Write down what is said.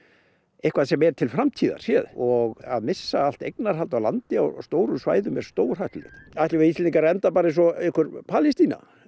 eitthvað sem er til framtíðar og að missa allt eignarhald á landi á stóru svæði er stórhættulegt ætlum við Íslendingar að enda eins og einhver Palestína